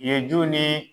Ye ju ni